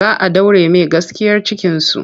Za a ɗaure mai gaskiyar cikinsu.